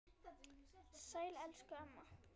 Sæl elsku amma.